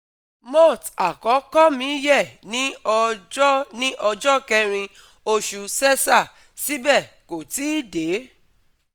Moth àkókò mi yẹ ní ọjọ́ ní ọjọ́ kẹrin oṣù sẹ́sà, síbẹ̀ kò tí ì dé